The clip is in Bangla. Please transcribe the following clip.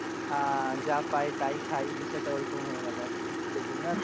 আহ যা পাই তাই খাই বিষয়টা ওরকম হয়ে গেল আরকি সেজন্য আর,